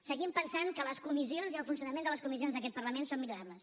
seguim pensant que les comissions i el funcionament de les comissions d’aquest parlament són millorables